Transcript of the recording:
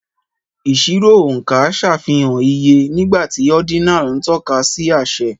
Ìṣirò oonka ṣàfihàn iye, nígbà tí ordinal ń tọ́ka sí àṣẹ.